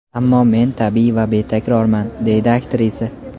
Ammo men tabiiy va betakrorman”, − deydi aktrisa.